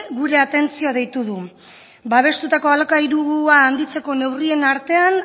gure atentzioa deitu du babestutako alokairua handitzeko neurrien artean